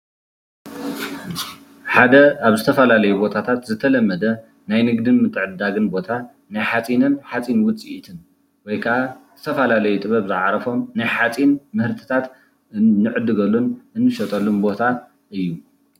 ሓደ ኣብ ዝተፈላለዩ ቦታታት ዝተለመደ ናይ ንግድን ምትዕድዳግን ቦታ ናይ ሓፂንን ሓፂን ውፅኢትን ወይከኣ ዝተፈላለዩ ጥብብ ዝዓረፈም ናይ ሓፂን ምህርትታት እንዕገሉን ዝሽየጠሉን ቦታ እዩ፡፡